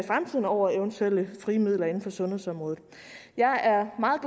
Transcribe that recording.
over eventuelle frie midler inden for sundhedsområdet jeg er meget